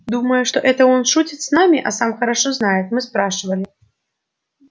думая что он это шутит с нами а сам хорошо знает мы спрашивали